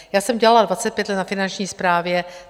Já jsem dělala 25 let na Finanční správě.